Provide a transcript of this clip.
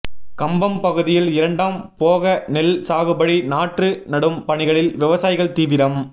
கம்பம் பகுதியில் இரண்டாம் போகநெல் சாகுபடி நாற்று நடும் பணிகளில் விவசாயிகள் தீவிரம்